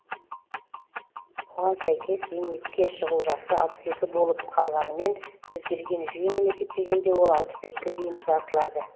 оған сәйкес зейнетке шығу жасы алпыс екі болып қалғанымен өзгерген жүйемен есептегенде ол алпыс төртке дейін ұзартылады